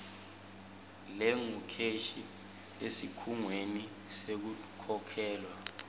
lengukheshi esikhungweni sekukhokhelwa